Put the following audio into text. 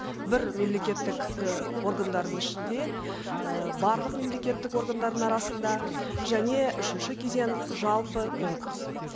бір мемлекеттік і органдардың ішінде і барлық мемлекеттік органдардың арасында және үшінші кезең жалпы конкурс